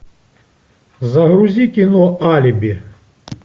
загрузи кино алиби